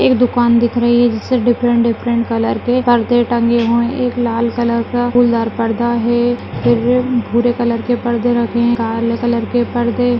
एक दुकान दिख रही हैं जिसमे डिफरेंट डिफरेंट कलर के परदे टंगे है एक लाल कलर का फूलदार पर्दा है फिर भूरे कलर के परदे रखे है काले कलर के परदे --